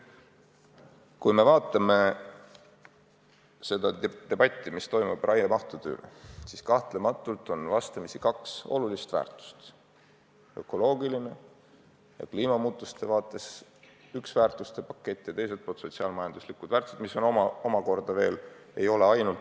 Kui me vaatame debatti raiemahtude üle, siis näeme, et vastamisi on kaks olulist väärtuste paketti: ökoloogiline ja kliimamuutuste seisukohalt üks väärtuste pakett ning teiselt poolt sotsiaal-majanduslike väärtuste pakett.